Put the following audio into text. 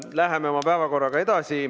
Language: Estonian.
Läheme oma päevakorraga edasi.